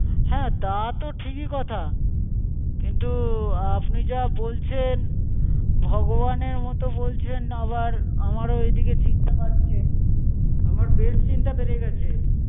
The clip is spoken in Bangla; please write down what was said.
হ্যাঁ, তাতো ঠিকই কোথা, কিন্তু আপনি যা বলছেন ভগবানের মতো বলছেন আবার আমারো এদিকে চিন্তা বাড়ছে আমার বেশ চিন্তা বেড়ে গেছে।